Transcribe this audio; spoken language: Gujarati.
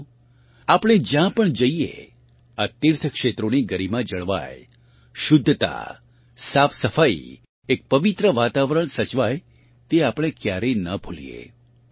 સાથીઓ આપણે જ્યાં પણ જઇએ આ તીર્થ ક્ષેત્રોની ગરિમા જળવાય શુદ્ધતા સાફસફાઇ એક પવિત્ર વાતાવરણ સચવાય તે આપણે ક્યારેય ન ભૂલીએ